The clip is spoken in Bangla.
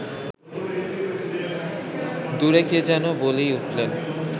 দূরে কে যেন বলেই উঠলেন